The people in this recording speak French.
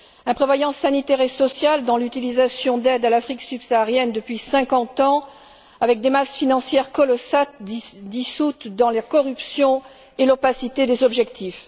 Imprévoyance sanitaire et sociale dans l'utilisation des aides à l'Afrique subsaharienne depuis cinquante ans, avec des masses financières colossales dissoutes dans la corruption et l'opacité des objectifs.